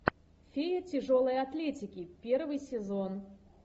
феи тяжелой атлетики первый сезон